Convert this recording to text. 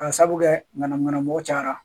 Ka sabu kɛ ŋanamu ŋanamu mɔ cayara